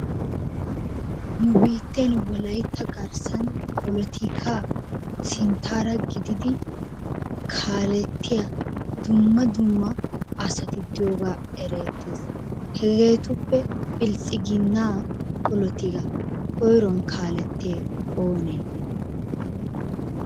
Nu biitten wolaytta garssan polotikaa sinttaara gididi kaalettiya dumma dumma asati diyogaa ereettees. Hegeetuppe biltsiginnaa polotikaa koyro kaalettiyay oonee?